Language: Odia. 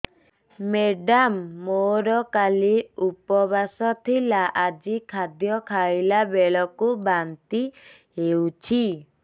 ମେଡ଼ାମ ମୋର କାଲି ଉପବାସ ଥିଲା ଆଜି ଖାଦ୍ୟ ଖାଇଲା ବେଳକୁ ବାନ୍ତି ହେଊଛି